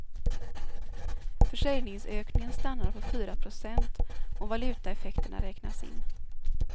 Försäljningsökningen stannar på fyra procent om valutaeffekterna räknas in.